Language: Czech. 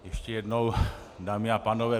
Ještě jednou, dámy a pánové.